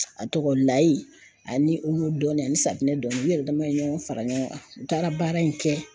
A tɔgɔ layi ani olu dɔɔni ani safunɛ dɔɔni u yɛrɛ dama ye ɲɔgɔn fara ɲɔgɔn kan u taara baara in kɛ.